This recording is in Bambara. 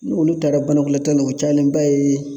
Ni olu taara banakɔtaa la u cayalenba ye